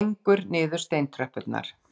Gengur niður steintröppurnar.